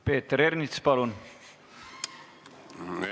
Peeter Ernits, palun!